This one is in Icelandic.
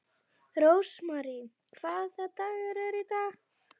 Rósmary, hvaða dagur er í dag?